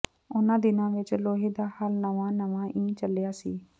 ਉਨ੍ਹਾਂ ਦਿਨਾਂ ਵਿਚ ਲੋਹੇ ਦਾ ਹਲ ਨਵਾਂ ਨਵਾਂ ਈ ਚੱਲਿਆ ਸੀ